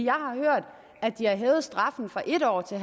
har hørt at de har hævet straffen fra en år til